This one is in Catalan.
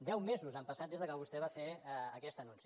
deu mesos han passat des que vostè va fer aquest anunci